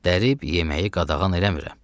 Dərib yeməyi qadağan eləmirəm.